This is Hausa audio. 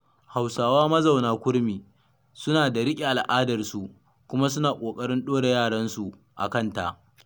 Hausawa mazauna kurmi, suna da riƙe al'adarsau, kuma suna ƙoƙarin ɗora yaransu a kanta.